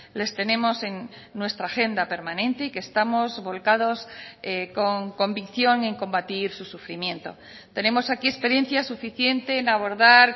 les tenemos en nuestra agenda permanente y que estamos volcados con convicción en combatir su sufrimiento tenemos aquí experiencia suficiente en abordar